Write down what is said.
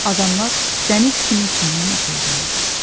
Adamlar dəniz kimi içindən uğuldadır.